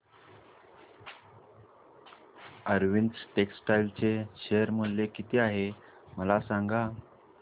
Arvind textile चे share मूल्य किती आहे मला सांगा